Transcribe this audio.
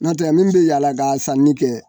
Nɔtɛ min bɛ yaala ka sanni kɛ.